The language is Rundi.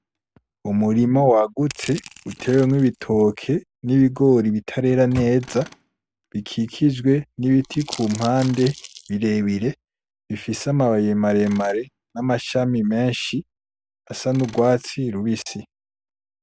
Umurima wagutse utewemwo ibitoke n'ibigori bitarera neza bikijwe nibiti kumpande birebire, bifise amababi maremare n'amashami menshi asa n'urwatsi rubisi.